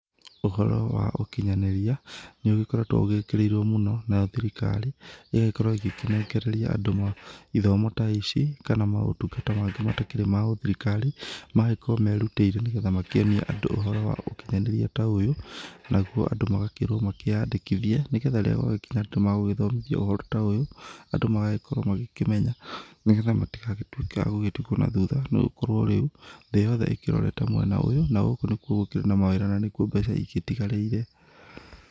Ũhoro wa ũkinyanĩria nĩ ũgĩkoretwo ũgĩkĩrĩirwo mũno nayo thirikari ĩgagĩkorwo igĩkĩnengereria andũ ithomo ta ici kana maũtungata mangĩ matakĩrĩ ma gĩthirikari. Magagĩkorwo merutĩire nĩ getha makĩonie andũ ũhoro wa ũkinyanĩria ta ũyũ, naguo andũ makerwo makĩyandĩkĩthie nĩ getha rĩrĩa gwagĩkinya atĩ nĩ magũgĩthomithio ũhoro ta ũyũ andũ magagĩkorwo makĩmenya. Nĩ getha matigakorwo agũtigwo na thutha, nĩ gũkorwo rĩu thĩ yothe ĩkĩrorete mwena ũyũ na gũkũ nĩkuo gũkĩrĩ na mawĩra na nĩkuo mbeca igĩtigarĩire.